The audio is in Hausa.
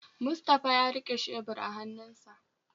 Mustapha ya rike shebur a hannunsa